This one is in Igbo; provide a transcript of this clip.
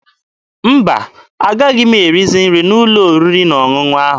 Mba, agaghị m erizi nri n'ụlọ oriri na ọṅụṅụ ahụ ọzọ.